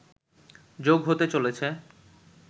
যোগ হতে চলেছে